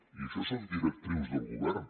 i això són directrius del govern